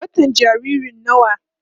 watan jaririn nawa?